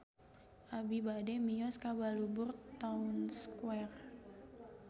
Abi bade mios ka Balubur Town Square